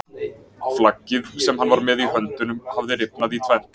Flaggið sem hann var með í höndunum hafði rifnað í tvennt!